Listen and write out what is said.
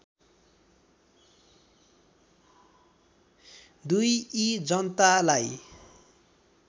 २ यी जनतालाई